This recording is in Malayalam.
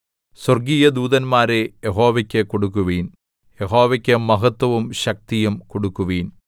സ്വര്‍ഗീയ ദൂതന്മാരെ യഹോവയ്ക്ക് കൊടുക്കുവിൻ യഹോവയ്ക്ക് മഹത്ത്വവും ശക്തിയും കൊടുക്കുവിൻ